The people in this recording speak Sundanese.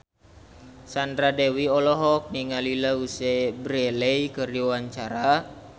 Sandra Dewi olohok ningali Louise Brealey keur diwawancara